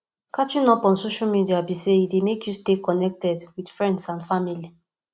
catching up on social media be say e dey make you stay connected with friends and family